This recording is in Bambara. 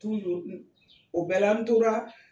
O bɛɛ la an bɛ to ka